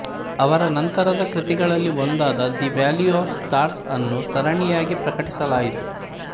ಅವರ ನಂತರದ ಕೃತಿಗಳಲ್ಲಿ ಒಂದಾದ ದಿ ವ್ಯಾಲಿ ಆಫ್ ಸ್ಟಾರ್ಸ್ ಅನ್ನು ಸರಣಿಯಾಗಿ ಪ್ರಕಟಿಸಲಾಯಿತು